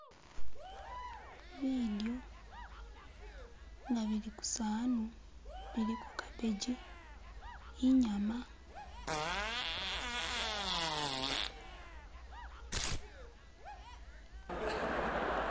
Bidyo nga bili kusanu biliko carbbegi inyama.